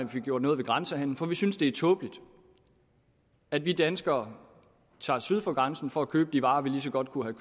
fik gjort noget ved grænsehandelen for vi synes at det er tåbeligt at vi danskere tager syd for grænsen for at købe de varer vi lige så godt kunne